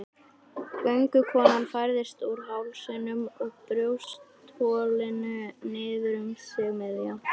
Göngukonan færðist úr hálsinum og brjóstholinu niður um sig miðja.